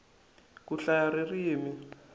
ku hlaya ririmi